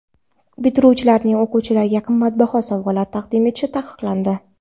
Bitiruvchilarning o‘qituvchilarga qimmatbaho sovg‘alar taqdim etishi taqiqlandi.